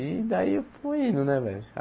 E daí eu fui indo, né, velho?